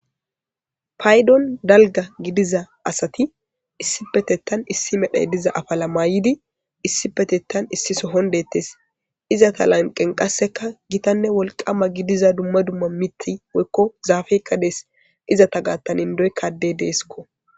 Paydon dalga gidiza asati issi petetan issi medhey diza afala maayidi issi petettan issiso hondettes iza ta lanqen qasseka gitanne wolqama gidiza dumma dumma miti woykko zaafey qadees izata gattanindoy kadde deesko.